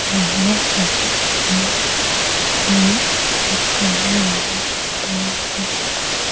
area बोहोत ही हीइइ ठीक चलने वाला यातायात का साधन है |